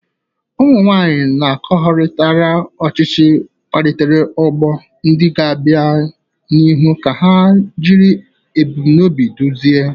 Ụmụ nwanyị akọwagharịrị ọchịchị, kpalitere ọgbọ ndị ga-abịa n'ihu ka ha jiri ebumnobi duzie.